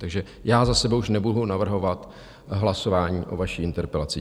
Takže já za sebe už nebudu navrhovat hlasování o vaší interpelaci.